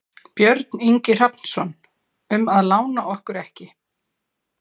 Björn Ingi Hrafnsson: Um að lána okkur ekki?